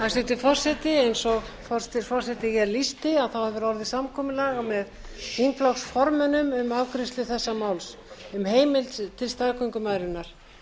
hæstvirtur forseti eins og forseti lýsti hefur orðið samkomulag með þingflokksformönnum um afgreiðslu þessa máls um heimild til staðgöngumæðrunar